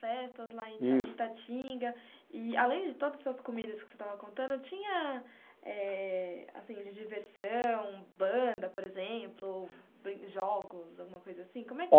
festas lá em. Isso. Em Itatinga, e além de todas essas comidas que você estava contando, tinha eh, assim, de diversão, banda, por exemplo, jogos, alguma coisa assim? Como é que